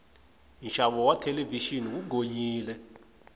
nxavo wa thelevixini wu gonyile